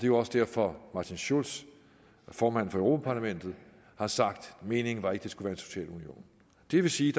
jo også derfor martin schulz formanden for europa parlamentet har sagt meningen var ikke det skulle være en social union det vil sige